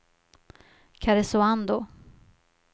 Karesuando